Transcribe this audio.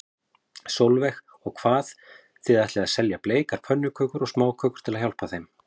Sólveig: Og hvað, þið ætlið að selja bleikar pönnukökur og smákökur til að hjálpa þeim?